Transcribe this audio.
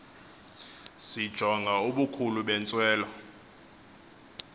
sijonga ubukhulu bentswelo